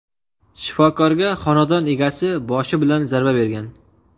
Shifokorga xonadon egasi boshi bilan zarba bergan.